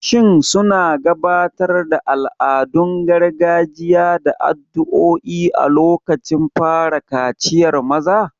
Shin suna gabatar da al'adun gargajiya da addu'o'i a lokacin fara kaciyar maza?